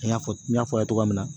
I n'a fɔ n y'a fɔ aw ye togoya min na